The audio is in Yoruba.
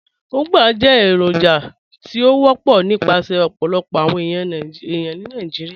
Ugbá jẹ́ èròjà tí ó wọpọ̀ nípasẹ̀ ọ̀pọ̀lọpọ̀ awọn ẹyà ní Nàìjíríà.